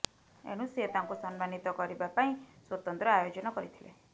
ଏଣୁ ସେ ତାଙ୍କୁ ସମ୍ମାନିତ କରିବା ପାଇଁ ସ୍ୱତନ୍ତ୍ର ଆୟୋଜନ କରିଥିଲେ